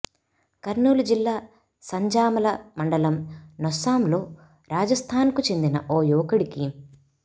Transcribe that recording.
కర్నూలు జిల్లా సంజామల మండలం నొస్సంలో రాజస్థాన్కు చెందిన ఓ యువకుడికి